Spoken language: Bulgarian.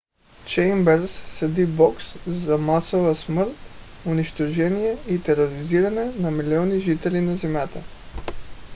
чеймбърс съди бог за масова смърт унищожение и тероризиране на милиони жители на земята.